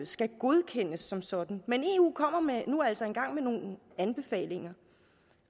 skal godkendes som sådan men eu kommer altså nu engang med nogle anbefalinger